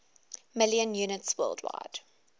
million units worldwide